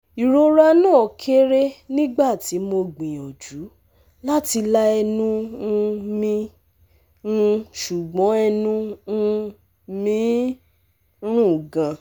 Irora na kere nigbati mo gbiyanju lati la ẹnu um mi, um sugbon ẹnu um mi n run gan